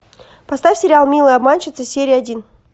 поставь сериал милые обманщицы серия один